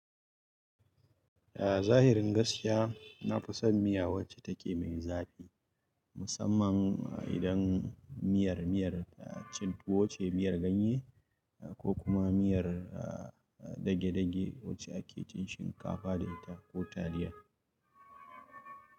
Ah zahirin gaskiya, na fi son miya wacce take mai zafi. Musamman idan miyar, miyar cin tuwo ce, miyar ganye ko kuma miyar dagedage wacce ake cin shinkafa da ita ko taliya.